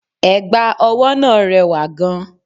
Ẹ̀gbà ọwọ́ náà rẹwà gan-an